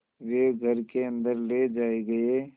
वे घर के अन्दर ले जाए गए